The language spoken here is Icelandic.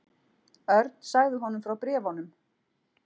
Örn sagði honum frá bréfunum.